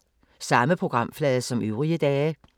Samme programflade som øvrige dage